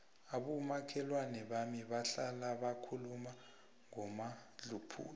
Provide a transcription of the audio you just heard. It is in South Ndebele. abomakhelwana bami bahlala bakhuluma ngomadluphuthu